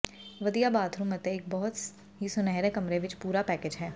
ਵਧੀਆ ਬਾਥਰੂਮ ਅਤੇ ਇੱਕ ਬਹੁਤ ਹੀ ਸੁਨਹਿਰੇ ਕਮਰੇ ਵਿੱਚ ਪੂਰਾ ਪੈਕੇਜ ਹੈ